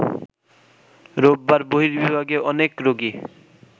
রোববার বহির্বিভাগে অনেক রোগী